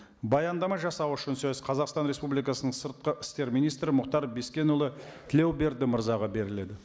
баяндама жасау үшін сөз қазақстан республикасының сыртқы істер министрі мұхтар бескенұлы тілеуберді мырзаға беріледі